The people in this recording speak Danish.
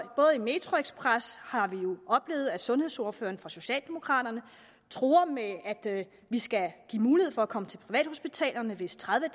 i metroxpress har vi jo oplevet at sundhedsordføreren for socialdemokraterne truer med at at vi skal give mulighed for at komme til privathospitalerne hvis tredive